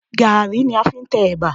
Gaàrí ni a fi ń tẹ ẹ̀bà